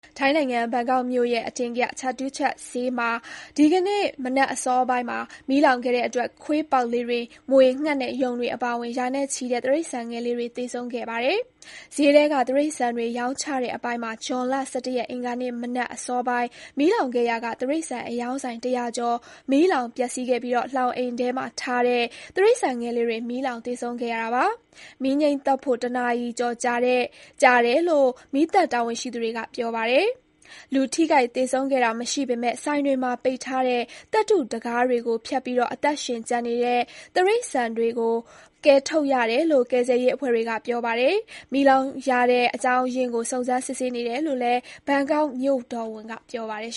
ထိုင်းနိုင်ငံ ဘန်ကောက်မြို့ရဲ့ အထင်ကရ Chatuchak ဈေးမှာ ဒီကနေ့ မနက်အစောပိုင်း မီးလောင်ခဲ့တဲ့အတွက် ခွေးပေါက်လေးတွေ၊ မြွေ၊ ငှက်နဲ့ ယုန်တွေအပါအဝင် ရာနဲ့ချီတဲ့ တိရစ္ဆာန်ငယ်လေးတွေ သေဆုံးခဲ့ပါတယ်။ ဈေးထဲက တိရစ္ဆာန်တွေ ရောင်းချတဲ့ အပိုင်းမှာ အင်္ဂါမနက်အစောပိုင်း မီးလောင်ခဲ့ရာက တိရစ္ဆာန်အရောင်းဆိုင် ၁၀၀ ကျော်မီးလောင်ပျက်စီးခဲ့ပြီး လှောင်အိမ်ထဲထည့်ထားတဲ့ တိရစ္ဆာန်ငယ်လေးတွေမီးလောင်သေဆုံးခဲ့ရတာပါ။ မီးငြှိမ်းသတ်ဖို့ တနာရီကျော်ကြာတယ်လို့ မီးသတ်တာဝန်ရှိသူတွေကပြောပါတယ်။ လူထိခိုက်သေဆုံးတဲ့တာမရှိပေမဲ့ ဆိုင်တွေမှာပိတ်ထားတဲ့ သတ္တုတံခါးတွေကို ဖျက်ပြီးတော့ အသက်ရှင်ကျန်နေတဲ့ တိရစ္ဆာန်လေးတွေကို ကယ်ထုတ်ခဲ့ရတယ်လို့ ကယ်ဆယ်ရေးအဖွဲ့တွေကပြောပါတယ်။ မီးလောင်ရတဲ့ အကြောင်းရင်းကို စုံစမ်းစစ်ဆေးနေတယ်လို့ ဘန်ကောက်မြို့တော်ဝန်ကပြောပါတယ်